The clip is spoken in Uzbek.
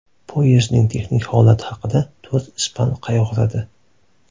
Poyezdning texnik holati haqida to‘rt ispan qayg‘uradi.